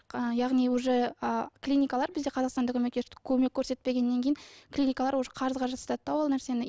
ы яғни уже ы клиникалар бізде қазақстанда көмек көрсетпегеннен кейін клиникалар уже қарызға жасатады да ол нәрсені